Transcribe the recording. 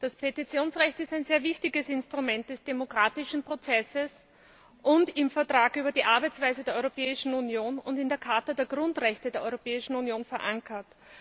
Das Petitionsrecht ist ein sehr wichtiges Instrument des demokratischen Prozesses und im Vertrag über die Arbeitsweise der Europäischen Union und in der Charta der Grundrechte der Europäischen Union verankert.